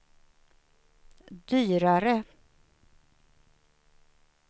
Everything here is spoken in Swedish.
dyrare